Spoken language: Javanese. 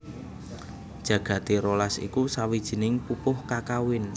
Jagati rolas iku sawijining pupuh kakawin